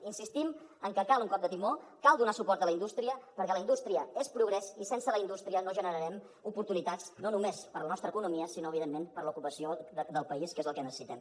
i insistim en que cal un cop de timó cal donar suport a la indústria perquè la indústria és progrés i sense la indústria no generarem oportunitats no només per a la nostra economia sinó evidentment per a l’ocupació del país que és el que necessitem